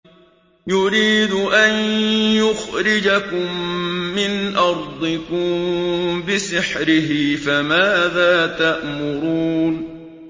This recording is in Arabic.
يُرِيدُ أَن يُخْرِجَكُم مِّنْ أَرْضِكُم بِسِحْرِهِ فَمَاذَا تَأْمُرُونَ